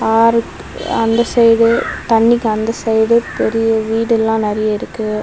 ஆறுக்கு அந்த சைடு தண்ணீக்கு சைடு பெரிய வீடு எல்லாம் இருக்கு.